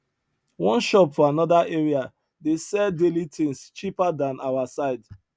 one shop for another area dey sell daily things cheaper than our side